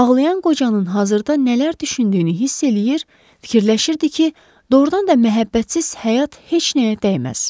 Ağlayan qocanın hazırda nələr düşündüyünü hiss eləyir, fikirləşirdi ki, doğurdan da məhəbbətsiz həyat heç nəyə dəyməz.